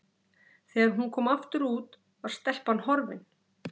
Þegar hún kom aftur út var stelpan horfin.